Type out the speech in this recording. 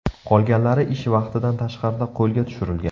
Qolganlari ish vaqtidan tashqarida qo‘lga tushirilgan.